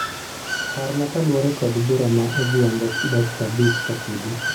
Parna kaluwore kod bura ma odhiambo dakika abich kapodi.